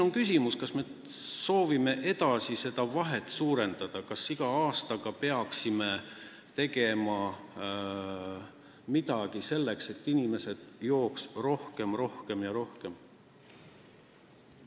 On küsimus, kas me soovime seda vahet veelgi suurendada ja peaksime igal aastal tegema midagi selleks, et inimesed jooks rohkem, aina rohkem ja rohkem.